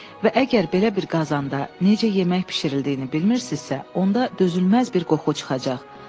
Və əgər belə bir qazanda necə yemək bişirildiyini bilmirsinizsə, onda dözülməz bir qoxu çıxacaq.